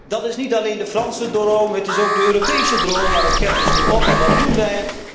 Dat is niet alleen de Franse droom, het is ook de Europese droom. Maar het geld is nu op. En wat doen wij?